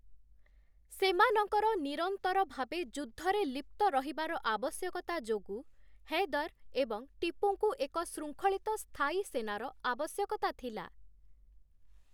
ସେମାନଙ୍କର ନିରନ୍ତର ଭାବେ ଯୁଦ୍ଧରେ ଲିପ୍ତ ରହିବାର ଆବଶ୍ୟକତା ଯୋଗୁ, ହୈଦର ଏବଂ ଟିପୁଙ୍କୁ ଏକ ଶୃଙ୍ଖଳିତ ସ୍ଥାୟୀ ସେନାର ଆବଶ୍ୟକତା ଥିଲା ।